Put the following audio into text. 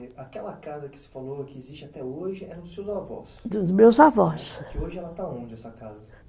Aquela casa que se falou que existe até hoje é dos seus avós? Dos meus avós. E hoje, ela está aonde essa casa?